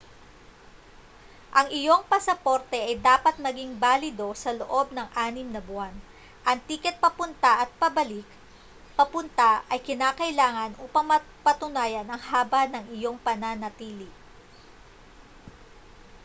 ang iyong pasaporte ay dapat maging balido sa loob ng 6 na buwan. ang tiket papunta at pabalik/papunta ay kinakailangan upang mapatunayan ang haba ng iyong pananatili